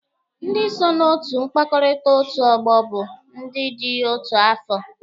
Ndị so na otu mkpakọrịta otu ọgbọ bụ ndị dị otu afọ